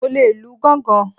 Mo le lu gángan.